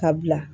Ka bila